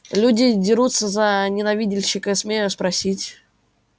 люди дерутся за ненавидальщика смею спросить